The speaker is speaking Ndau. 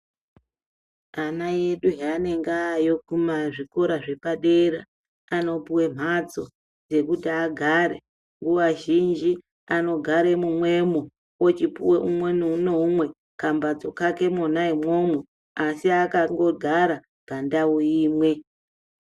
Ana edu haanenge aayo kuzvikora zvepadera anopuwe mhatso dzekuti agare nguaa zhinji anogare mumwemwo ochipuwa umwe noumwe kambhatso kake mwona imwomwo asi akagara pamdau imwe.